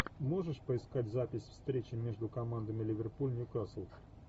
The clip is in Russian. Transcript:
можешь поискать запись встречи между командами ливерпуль ньюкасл